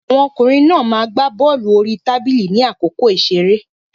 Àwọn ọkùnrin náà ma gbá bọ́lù orí tábìlì ní àkókò ìṣeré.